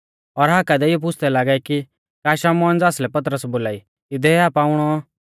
और हाका देइऔ पुछ़दै लागै कि का शमौन ज़ासलै पतरस बोलाई इदै आ पाउणौ